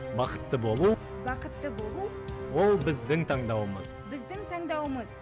бақытты болу бақытты болу ол біздің таңдауымыз біздің таңдауымыз